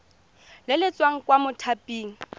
le le tswang kwa mothaping